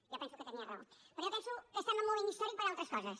jo penso que tenia raó però jo penso que estem en un moment històric per altres coses